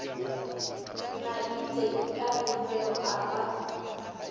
maite ka pefelo a ba